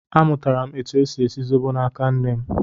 Amụtara m etu e si esi zobo n'aka nne m